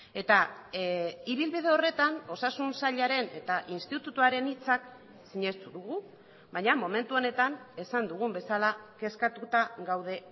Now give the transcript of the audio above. eta ibilbide horretan osasun sailaren eta institutoaren hitzak sinestu dugu baina momentu honetan esan dugun bezala kezkatuta gaude